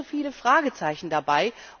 Es gibt so viele Fragezeichen dabei.